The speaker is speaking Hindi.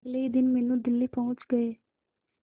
अगले ही दिन मीनू दिल्ली पहुंच गए